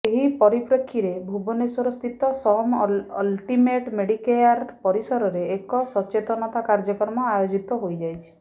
ଏହି ପରିପ୍ରେକ୍ଷୀରେ ଭୁବନେଶ୍ୱରସ୍ଥିତ ସମ୍ ଅଲ୍ଟିମେଟ୍ ମେଡିକେୟାର ପରିସରରେ ଏକ ସଚେତନତା କାର୍ଯ୍ୟକ୍ରମ ଆୟୋଜିତ ହୋଇଯାଇଛି